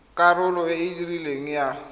karolo e e rileng ya